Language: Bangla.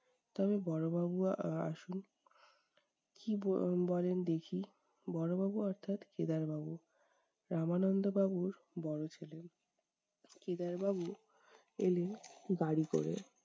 তবে বড়ো বাবু আহ আহ আসুন, কী বল বলেন দেখি বড়ো বাবু অর্থাৎ কেদার বাবু, রামানন্দ বাবুর বড়ো ছেলে। কেদার বাবু এলেন বাড়ি করে